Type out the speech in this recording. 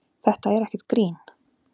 Þetta er ekkert grín.